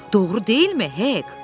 Doğru deyilmi, Hek?